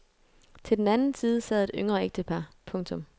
Til den anden side sad et yngre ægtepar. punktum